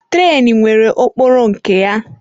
Trenu nwere okporo nke ya.